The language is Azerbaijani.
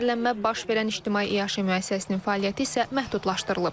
Zəhərlənmə baş verən ictimai iaşə müəssisəsinin fəaliyyəti isə məhdudlaşdırılıb.